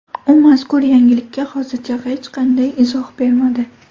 U mazkur yangilikka hozircha hech qanday izoh bermadi.